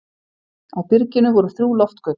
Á byrginu voru þrjú loftgöt.